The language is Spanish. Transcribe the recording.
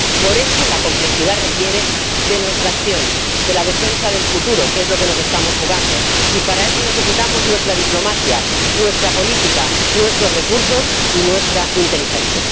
Por eso, la complejidad requiere de nuestra acción, de la defensa del futuro, que es lo que nos estamos jugando, y para eso necesitamos nuestra diplomacia, nuestra política, nuestros recursos y nuestra inteligencia.